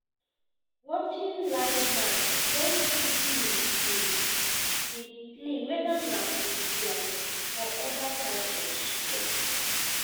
watching live match wen two teams dey dey play weda na football or other types of sports